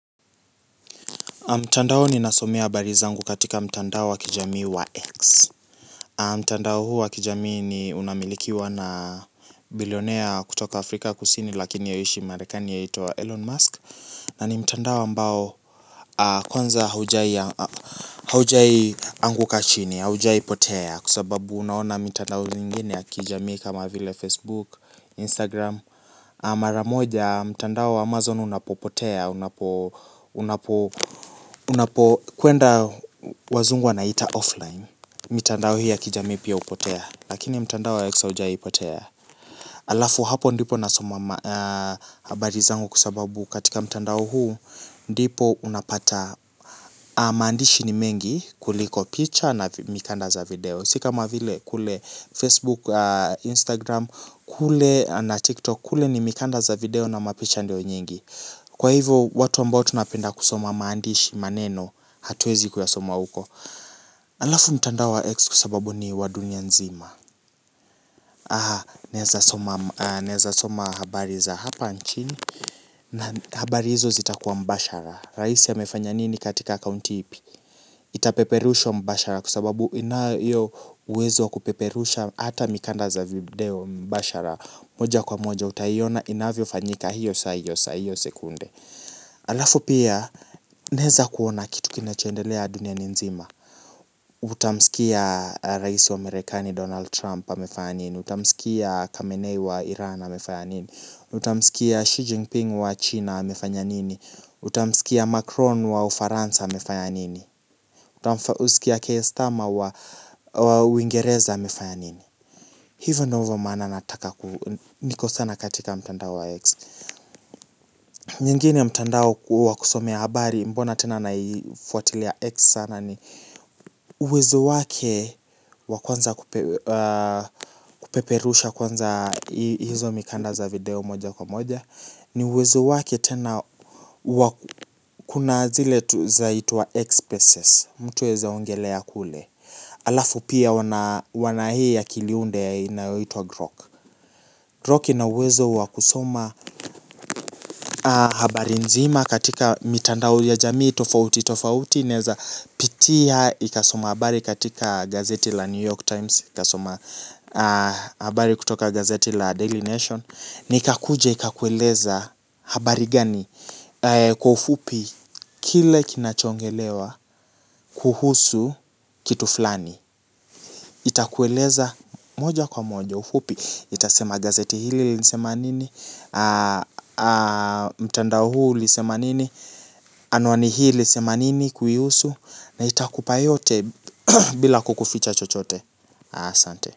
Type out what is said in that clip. Mtandao ninasomea habari zangu katika mtandao wa kijamii wa X. Mtandao huu wa kijamii ni unamilikiwa na bilionea kutoka Afrika kusini lakini yeye huishi marekani aitwa Elon Musk. Na ni mtandao ambao kwanza haujawahi anguka chini, haujawahi potea. Kwa sababu unaona mitandao mingine ya kijamii kama vile Facebook, Instagram. Maramoja mtandao wa Amazon unapopotea. Unapo kwenda wazungu wanaita offline. Mitandao hii ya kijamii pia hupotea. Lakini mtandao wa x haujawahi potea. Alafu hapo ndipo nasoma habari zangu kwa sababu katika mtandao huu ndipo unapata maandishi ni mengi kuliko picture na mikanda za video. Si kama vile kule Facebook, Instagram, kule na TikTok kule ni mikanda za video na mapicha ndio nyingi. Kwa hivyo watu ambao tunapenda kusoma maandishi maneno hatuwezi kuyasoma huko. Alafu mtandao wa ex kwa sababu ni wa dunia nzima. Aha naweza soma habari za hapa nchini. Na habari hizo zitakuwa mbashara. Raisi amefanya nini katika county ipi. Itapeperusha mbashara kwa sababu inayo hiyo uwezo wa kupeperusha hata mikanda za video mbashara. Moja kwa moja utaiona inavyofanyika hiyo saa hiyo sekunde. Alafu pia naweza kuona kitu kinacho endelea duniani nzima Utamsikia raisi wa Marekani Donald Trump amefanya nini Utamsikia Kamenei wa Iran amefanya nini Utamsikia Xi Jinping wa China amefanya nini Utamsikia Macron wa Ufaransa amefanya nini Utamsikia Keistama wa Uingereza amefanya nini. Hivyo ndio maana nataka niko sana katika mtandao wa X. Nyingine mtandao huo wa kusomea habari mbona tena naifuatilia X sana ni uwezo wake wa kwanza kupeperusha kwanza hizo mikanda za video moja kwa moja. Ni uwezo wake tena wa kuna zile zaitwa X spaces. Mtu aweza ongelelea kule. Alafu pia wana hii ya kiliunde inayoitwa Grok grok ina uwezo wa kusoma habari nzima katika mitandao ya jamii, tofauti, tofauti, inaweza pitia, ikasoma habari katika gazeti la New York Times, ikasoma habari kutoka gazeti la Daily Nation. Na ikakuja ikakueleza habari gani kwa ufupi kile kinacho ongelewa kuhusu kitu fulani itakueleza moja kwa moja ufupi itasema gazeti hili lilisema nini mtandao huu ulisema nini anuwani hii ilisema nini kuihusu na itakupa yote bila kukuficha chochote asante.